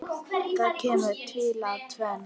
Það kemur til af tvennu.